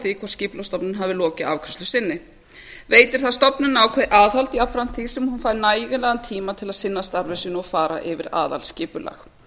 því hvort skipulagsstofnun hefur lokið afgreiðslu sinni veitir þetta stofnuninni ákveðið aðhald jafnframt því sem hún fær nægilegan tíma til að sinna starfi sínu og fara yfir aðalskipulag